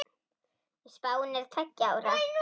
Spáin er til tveggja ára.